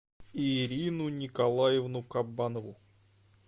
ирину николаевну кабанову